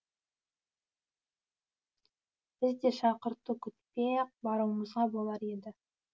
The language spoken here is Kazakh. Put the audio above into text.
біз де шақырту күтпей ақ баруымызға болар еді